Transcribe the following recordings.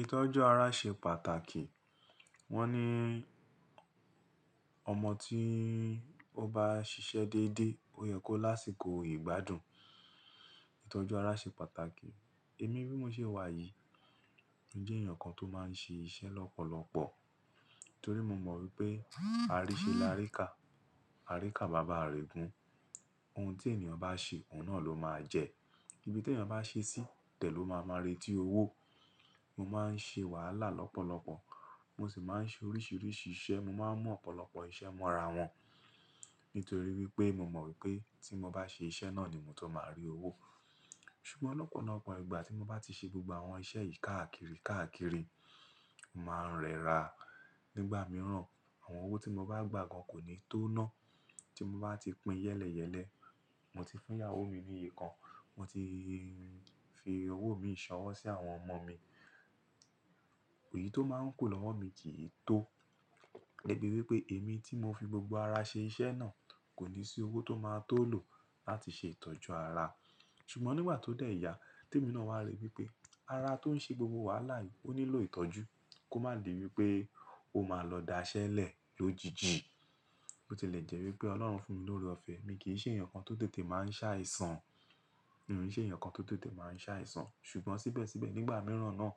Ìtọ́jú ara ṣe pàtàkì. Wọ́n ní ọmọ tí ó bá ṣiṣẹ́ dédé, ó yẹ kó lásìkò ìgbádùn. Ìtọ́jú ara ṣe pàtàkì. Èmi bí mo ṣe wà yìí, mo jẹ́ èèyàn kan tó máa ń ṣe iṣẹ́ lọ́pọ̀lọpọ̀ torí mo mọ̀ wípé a rí ṣe láré kà, a rí kà bàbá rẹ̀ gùn. Ohun tí ènìyàn bá ṣe, òun náà ló máa jẹ. Ibi tí ènìyàn bá ṣe sí tẹ̀ ló máa máa rí tí owó. Mo máa ń ṣe wàhálà lọ́pọ̀lọpọ̀, mo sì máa ń ṣe oríṣiríṣi iṣẹ́, mo máa ń mú ọ̀pọ̀lọpọ̀ iṣẹ́ mọ́ra wọn nítorí wípé mo mọ̀ wípé tí mo bá ṣe iṣẹ́ náà ni mo tó máa rí owó. Ṣùgbọ́n lọ́pọ̀lọpọ̀ ìgbà tí mo bá ti ṣe gbogbo àwọn iṣẹ́ yìí káàkiri, káàkiri, o máa ń rẹra. Nígbà mìíràn, àwọn owó tí mo bá gbà gan kò ní tó ná. Tí mo bá ti pín yẹ́lẹyẹ̀lẹ́, mo ti fún ìyàwó mi ní iye kan, mo ti fi owó mi ṣọwọ́ sí àwọn ọmọ mi, òyì tó máa ń kù lọ́wọ́ mi kì í tó. Dẹ́bi wípé èmi tí mo fi gbogbo ara ṣe iṣẹ́ náà kò ní sí owó tó máa tó lò láti ṣe ìtọ́jú ara. Ṣùgbọ́n nígba tó dé ẹ̀yà tí èmi náà wá rí wípé ara tó ń ṣe gbogbo wàhálà yìí ó nílò ìtọ́jú kó má di wípé ó máa lọ daṣẹ́lẹ̀ lójijì. Ó ti lè jẹ́ wípé Ọlọ́run fún mi lórí ọ̀fẹ́, èmi kì í ṣe èèyàn kan tó tètè máa ń ṣàìsàn. Mi ò ṣe èèyàn kan tó tètè máa ń ṣàìsàn. Tí mo bá ti pín yẹ́lẹyẹ̀lẹ́, mo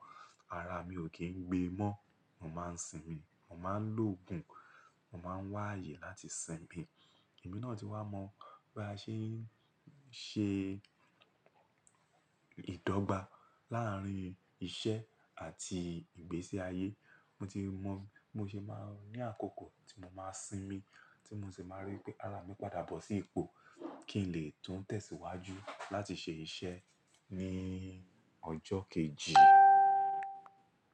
ti fún ìyàwó mi ní iye kan, mo ti fi owó mi ṣọwọ́ sí àwọn ọmọ mi, òyì tó máa ń kù lọ́wọ́ mi kì í tó. Mo máa ń sinmi, mo máa ń lòògùn, mo máa ń wá àyè láti sinmi. Ẹ̀mí náà ti wá mọ bí a ṣe ń ṣe ìdọ́gba láàárín iṣẹ́ àti ìgbésí ayé. Mo ti mọ bí mo ṣe máa ń ní àkókò tí mo máa sinmi tí mo sì máa rí pé ara mi padà bọ̀ sí ipò kí n lè tún tẹ̀síwájú láti ṣe iṣẹ́ ní ọjọ́ kejì.